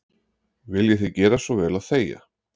Viljiði gera svo vel að þegja.